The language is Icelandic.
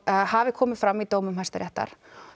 það hafi komið fram í dómi Hæstaréttar